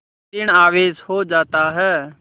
ॠण आवेश हो जाता है